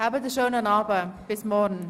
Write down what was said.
Ich wünsche Ihnen einen schönen Abend.